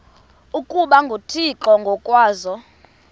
ukuba nguthixo ngokwaso